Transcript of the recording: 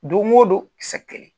Don o don sɛgƐn